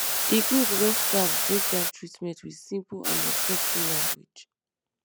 e good when staff break down treatment with simple and respectful language